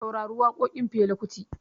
Saurari waƙoƙin Fela Kuti